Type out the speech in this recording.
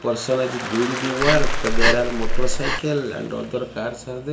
person doing the wark there are motorcycle and other cars are there.